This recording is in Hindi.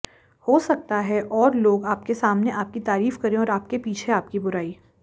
हो सकता है और लोग आपके सामने आपकी तारीफ करें और आपके पीछे आपकी बुराई